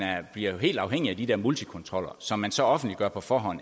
bliver helt afhængig af de der multikontroller som man så offentliggør på forhånd